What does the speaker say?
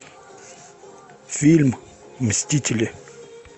фильм мстители